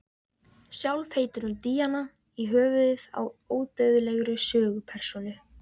Sjálf heitir hún Díana í höfuðið á ódauðlegri sögupersónu.